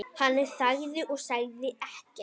Hann þagði og sagði ekkert.